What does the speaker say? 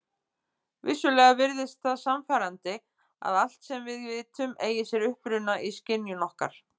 Vissulega virðist það sannfærandi að allt sem við vitum eigi sér uppruna í skynjun okkar.